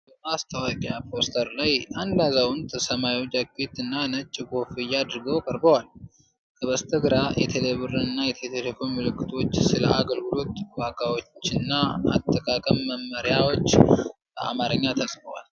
በማስታወቂያ ፖስተር ላይ አንድ አዛውንት ሰማያዊ ጃኬት እና ነጭ ኮፍያ አድርገው ቀርበዋል። ከበስተግራ፣ የቴሌብር እና የኢትዮ ቴሌኮም ምልክቶች፤ ስለ አገልግሎት ዋጋዎችና የአጠቃቀም መመሪያዎች በአማርኛ ተጽፏል።